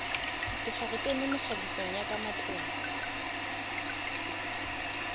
dikgaretene mekgabiso ya ka matlung